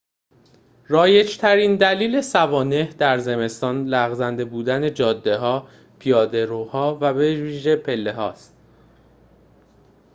رایج‌ترین دلیل سوانح در زمستان لغزنده بودن جاده‌ها پیاده‌روها و بویژه پله‌هاست